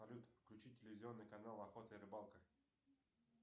салют включи телевизионный канал охота и рыбалка